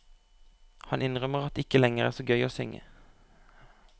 Han innrømmer at det ikke lenger er så gøy å synge.